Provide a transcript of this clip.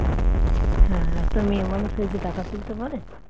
হ্যাঁ একটা মেয়ে মানুষ হয়ে কি টাকা তুলতে পারে